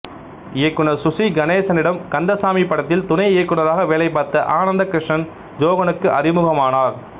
இயக்குநர் சுசி கணேசனிடம் கந்தசாமி படத்தில் துணை இயக்குநராக வேலைபார்த்த ஆனந்த கிருஷ்ணன் ஜோகனுக்கு அறிமுகமானார்